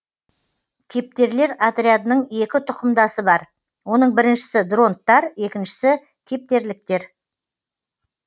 кептерлер отрядының екі тұқымдасы бар оның біріншісі дронттар екіншісі кептерліктер